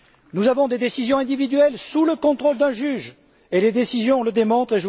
Nous prenons des décisions individuelles sous le contrôle d'un juge et les décisions le démontrent.